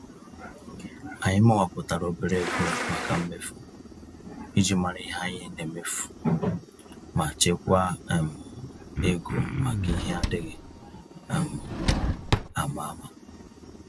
Anyị mawapụtara obere ego màkà mmefu, iji mara ihe anyị nemefu, ma chekwaa um égo maka ihe adịghị um àmà-àmà. um